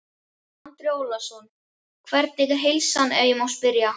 Andri Ólafsson: Hvernig er heilsan ef ég má spyrja?